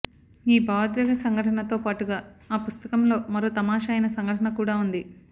ఈ భావోద్వేగ సంఘటనతో పాటుగా ఆ పుస్తకంలో మరో తమాషా అయిన సంఘటన కూడా ఉంది